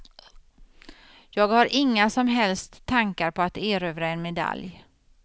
Jag har inga som helst tankar på att erövra en medalj.